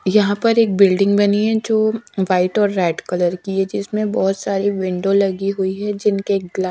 यहां पर एक बिल्डिंग बनी है जो व्हाइट और रेड कलर की है जिसमें बोहोत सारी विंडो लगी हुई है जिनके ग्ला--